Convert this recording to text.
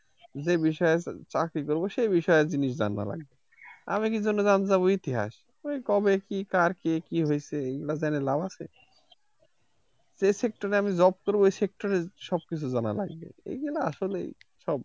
যে বিষয়ে চাকরি করবো সে বিষয়ে জিনিস জানা লাগে আমি কিসের জন্য জানতে যাব ইতিহাস এ কবে কি কার কি কি হইছে এইগুলা জেনে লাভ আছে যে sector এ আমি job করবো সে sector এ সব কিছু জানা লাগবে এগুলা আসলে সব